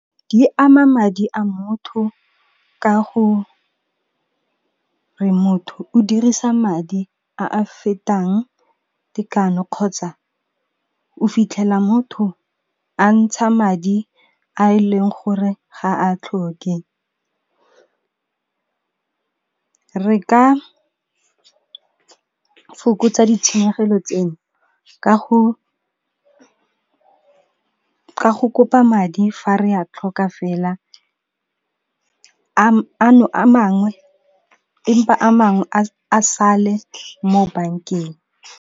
Di ama madi a motho ka go re, motho o dirisa madi a a fetang tekano kgotsa o fitlhela motho a ntsha madi a e leng gore ga a tlhoke. Re ka fokotsa ditshenyegelo tseo ka go kopa madi fa re a tlhoka fela empa a mangwe a sale mo bankeng.